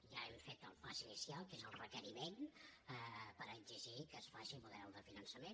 ja hem fet el pas inicial que és el requeriment per exigir que es faci model de finançament